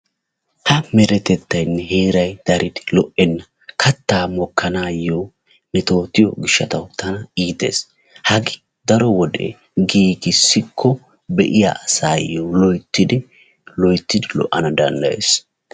Ha meretettaynne heeray daridi lo"enna. kattaa mokkanaayo metootiyo gishataw tana iites. Hagee daro wode giigissikko be"iya asaayo loyttidi loyttidi lo"ana danddayes.